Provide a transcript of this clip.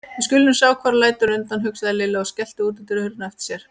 Við skulum nú sjá hver lætur undan, hugsaði Lilla og skellti útidyrahurðinni á eftir sér.